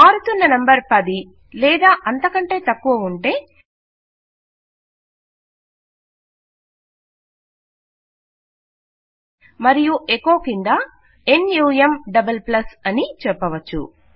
మారుతున్న నంబర్ 10 లేదా అంతకంటే తక్కువ ఉంటే మరియు ఎకొ క్రింద నమ్ అని చెప్పవచ్చు